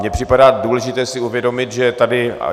Mně připadá důležité si uvědomit, že tady...